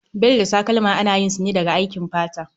Bel da takalma ana yin su ne daga aikin fata